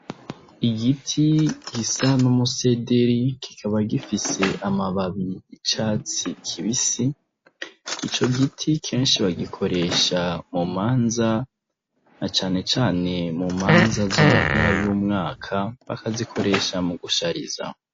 Igiti gisa n'umusederi kikaba gifise amababi icatsi kibisi ico giti kenshi bagikoresha mu manza na canecane mu manza zo mu mpera y'umwaka bakazikoresha mu gushariza.